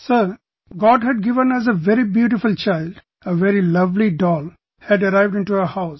Sir God had given us a very beautiful child, a very lovely doll had arrived into our house